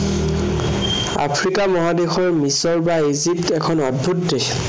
Africa মহাদেশৰ মিচৰ বা ইজিপ্ত এখন অদ্ভূত দেশ।